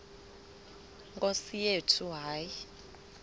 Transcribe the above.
nkosi yethu hayi